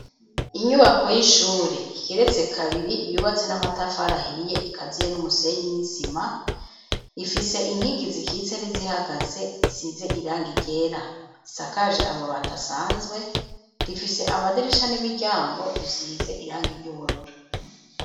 Inyubako y'ishure igeretse kabiri, yubatse n'amatafari ahiye, Ateye n'umusenyi nisima, Ifise inkingi zikitse nizihagaze, zisize irangi ryera, zisakaje amabati Asanzwe, rifise amadirisha n'imiryango bisize irangi ry'ubururu.